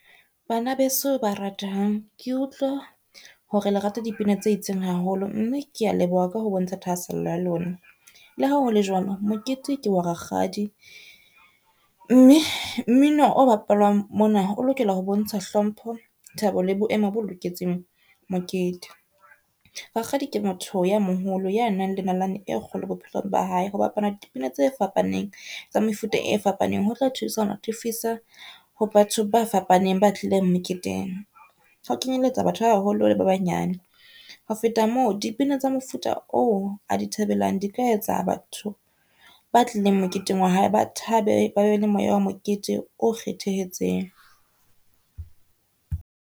Bana beso ba ratehang, ke utlwa hore le rata dipina tse itseng haholo, mme ke a leboha ka ho bontsha thahasello ya lona. Le ha hole jwalo, mokete ke wa rakgadi mme mmino o bapalwang mona o lokela ho bontsha hlomphe, thabo le boemo bo loketseng mokete. Rakgadi ke motho ye moholo ya nang le nalane e kgolo bophelong ba hae. Ho bapala dipina tse fapaneng tsa mefuta e fapaneng ho tla thusa ho natefisa ho batho ba fapaneng, ba tlileng meketeng. Ho kenyelletsa batho ba baholo le ba banyane. Ho feta moo, dipina tsa mofuta oo a di thabelang di ka etsa batho ba tlileng moketeng wa hae, ba thabe ba be le moya wa mokete o kgethehetseng.